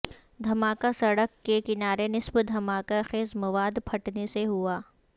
دھماکہ سڑک کے کنارے نصب دھماکہ خیز مواد پھٹنے سے ہوا